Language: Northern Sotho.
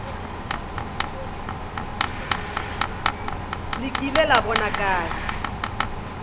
le kile la bona kae